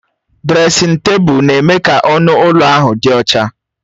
Dresịn tebụl na-eme ka ọnụ ụlọ ahụ dị ọcha